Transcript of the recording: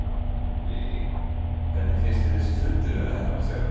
Lillý: Hvernig finnst þér þessi fundur vera að heppnast hjá ykkur?